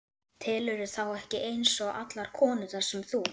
Telurðu þá ekki eins og allar konurnar sem þú?